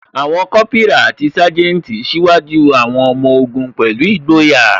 Àwọn Kópírà àti Sanjeti ṣíwájú àwọn ọmọ ogun pẹ̀lú ìgboyà